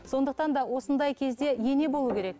сондықтан да осындай кезде ене болу керек